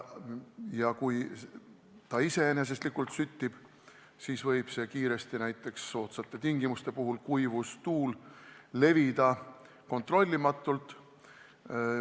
Ja kui selline materjal iseeneseslikult süttib, siis võib tuli soodsate tingimuste puhul – kuivus, tuul – levida kontrollimatult.